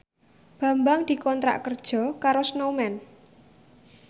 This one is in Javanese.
Bambang dikontrak kerja karo Snowman